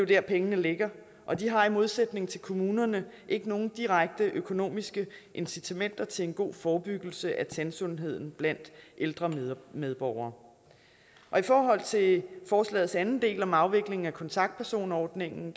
der pengene ligger og de har i modsætning til kommunerne ikke nogen direkte økonomiske incitamenter til en god forebyggelse af tandsundheden blandt ældre medborgere i forhold til forslagets anden del om afvikling af kontaktpersonordningen